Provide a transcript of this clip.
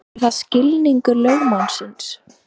Er það skilningur lögmannsins?